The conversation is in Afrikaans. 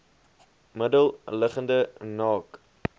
middel liggende naak